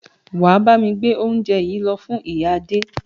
Wà á bámi gbé óúnje yìí lọ fún ìyá Adé!